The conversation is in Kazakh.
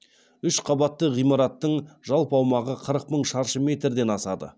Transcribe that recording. үш қабатты ғимараттың жалпы аумағы қырық мың шаршы метрден асады